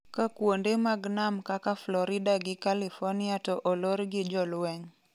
ka kuonde mag nam kaka Florida gi california to olor gi jolweny